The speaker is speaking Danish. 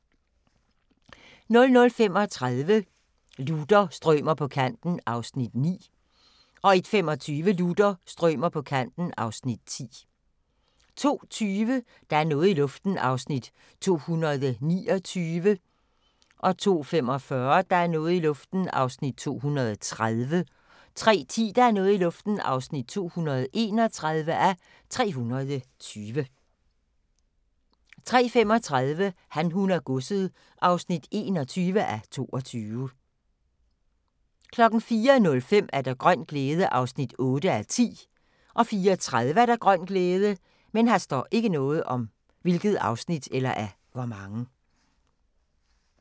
00:35: Luther – strømer på kanten (Afs. 9) 01:25: Luther – strømer på kanten (Afs. 10) 02:20: Der er noget i luften (229:320) 02:45: Der er noget i luften (230:320) 03:10: Der er noget i luften (231:320) 03:35: Han, hun og godset (21:22) 04:05: Grøn glæde (8:10) 04:30: Grøn glæde